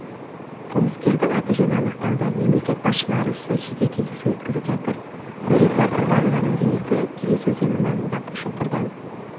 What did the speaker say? қылмыскердің аты-жөні анықталды мемлекет басшылары сочиде кездесу өткізіп жатыр нүрипа құрбанованың денесі келес өзені маңындағы шұңқырдан